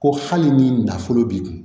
Ko hali ni nafolo b'i kun